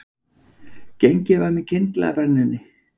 Gengið var með kyndla að brennunni